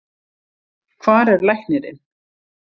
Hvar er læknirinn?